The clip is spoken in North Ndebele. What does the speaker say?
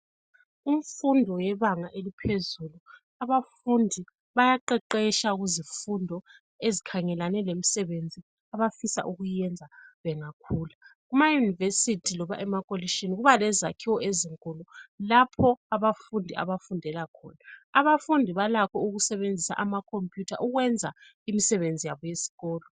Kumfundo yebanga eliphezulu abafundi bayaqeqetsha kuzifundo ezikhangelane lemisebenzi abafisa ukuyenza bengakhula. EamaYunivesithi noma emakolishini kuba lezakhiwo ezinkulu lapho abafundi abafundela khona abafundi balakho ukusebenzisa ama computer ukwenza imisebenzi yabo yesikolo.